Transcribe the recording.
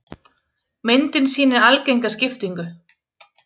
Myndin sýnir algenga skiptingu.